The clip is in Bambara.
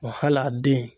Wa hali a den